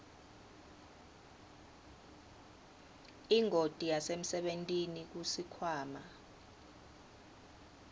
ingoti yasemsebentini kusikhwama